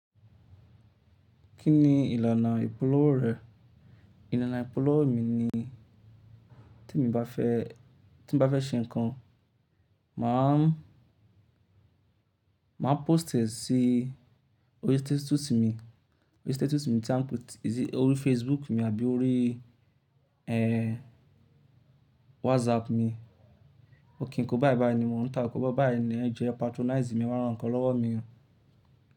Kí ni ìlànà ìpolówó rẹ? Ìlànà ìpolówó mi ni tí mo bá fẹ́, tí mo bá fẹ́ ṣe nǹkan máà ń, máà ń pósìtì sí orí stétùsù mi, orí stétùsù mi tí mò ń pótì orí Facebook mi àbí orí eh WhatsApp mi. Ó kí n kó báyìí báyìí ni mò ń tà á kó báyìí báyìí ni ẹ jo e patronize mi e wá ra nǹkan lọ́wọ́ mi.